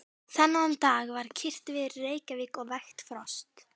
Þennan dag var kyrrt veður í Reykjavík og vægt frost.